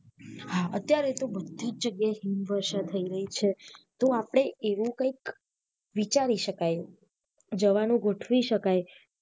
હા અત્યારે તો બધી જ જગ્યા એ હિમવર્ષા થઈ રહી છે તો આપને એવુ કઈક વિચારી શકાઈ જવાનુ ગોથ્વી શકાઈ